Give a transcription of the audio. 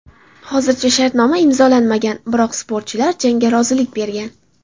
Hozircha shartnoma imzolanmagan, biroq sportchilar jangga rozilik bergan.